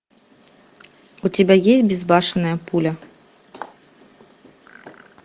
у тебя есть безбашенная пуля